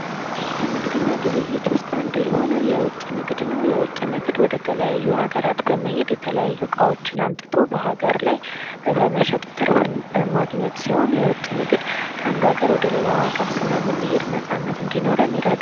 ከንግድ እና ግብይት ዉስጥ አንዱ የሆነዉ የዉጭ ንግድ ነዉ። የዉጭ ንግድ ወደ ተለያዩ አገራት በመሄድ የተለያዩ እቃዎችን አምጥቶ በአገር ላይ በመሸጥ ትርፍን ማግኘት ሲሆን የዉጭ ንግድ ከአንዱ ከአገር ወደ አንድ አገር ስለምንሄድ ነፃነት ይኖረናል።